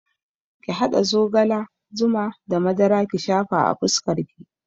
Ki haɗa zogala, zuma da madara ki shafa a fuskar ki